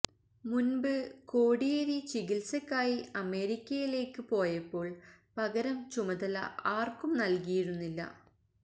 മുൻപ് കോടിയേരി ചികിത്സക്കായി അമേരിക്കയിലേക്ക് പോയപ്പോൾ പകരം ചുമതല ആർക്കും നൽകിയിരുന്നില്ല